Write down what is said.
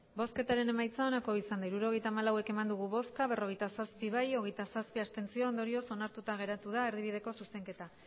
hirurogeita hamalau eman dugu bozka berrogeita zazpi bai hogeita zazpi abstentzio ondorioz onartuta geratu da erdibideko zuzenketa